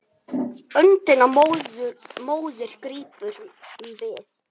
En ástin var sterk.